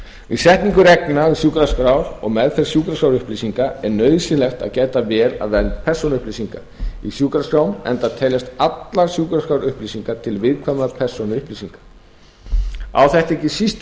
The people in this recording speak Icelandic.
við setningu reglna um sjúkraskrár og meðferð sjúkraskrárupplýsinga er nauðsynlegt að gæta vel að vernd persónuupplýsinga í sjúkraskrám enda teljast allar sjúkraskrárupplýsingar til viðkvæmra persónuupplýsinga á þetta ekki síst við